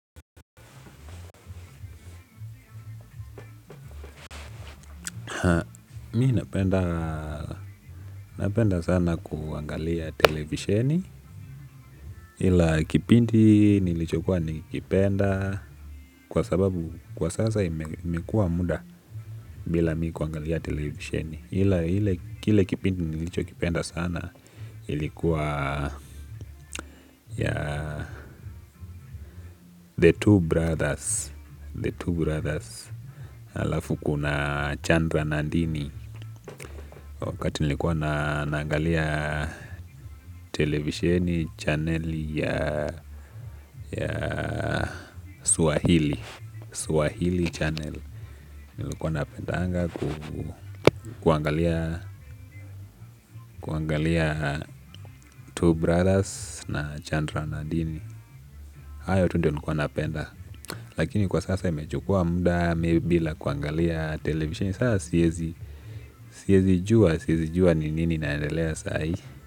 Mi napenda sana kuangalia televisheni ila kipindi nilicho kuwa nikipenda kwa sababu kwa sasa imekua muda bila mikuangalia televisheni ila hile kipindi nilicho kipenda sana ilikuwa ya the two brothers the two brothers alafu kuna chandra nandini wakati nilikuwa na nangalia television channel ya Swahili Swahili channel nilikuwa napenda anga kuangalia Two Brothers na Chandra Nadini ayo tu ndo nikuwa napenda lakini kwa sasa imechukua muda bila kuangalia television sasa siyezi juwa, siyezi juwa ni nini naendelea saa hii.